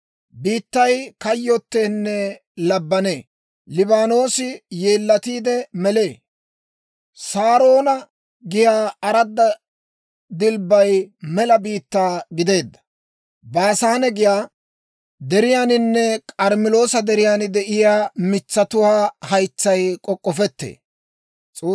Biittay kayyoteenne labbanee. Liibaanoosi yeellatiide melee; Saaroona giyaa aradda dilbbay mela biittaa gideedda. Baasaane giyaa deriyaaninne K'armmeloosa deriyaan de'iyaa mitsatuwaa haytsay k'ok'k'ofettee.